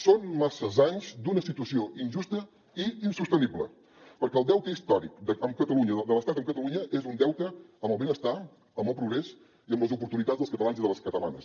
són massa anys d’una situació injusta i insostenible perquè el deute històric amb catalunya de l’estat amb catalunya és un deute amb el benestar amb el progrés i amb les oportunitats dels catalans i de les catalanes